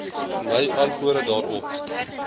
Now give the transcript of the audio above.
my antwoorde daarop